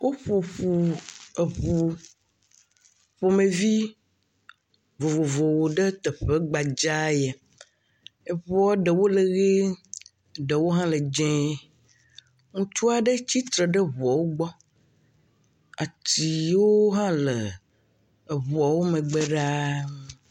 Woƒo ŋu eŋu ƒomevi vovovwo ɖe yeƒe gbadza ya. Eŋua ɖewo lɔ ʋi ɖewo hã dze. Ŋutsu aɖe tsitre ɖe ŋuawo gbɔ. Ati yiwo hã le eŋuawo megbe ɖaa.